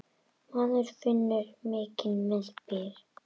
Maður finnur mikinn meðbyr.